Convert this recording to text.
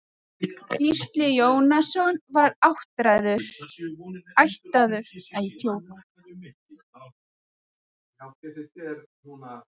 Gísli Jónasson var ættaður úr